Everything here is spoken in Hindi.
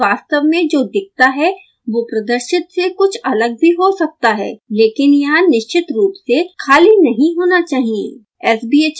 ध्यान दें कि वास्तव में जो दिखता है वो प्रदर्शित से कुछ अलग भी हो सकता है लकिन यह निश्चित रूप से खाली नहीं होना चाहिए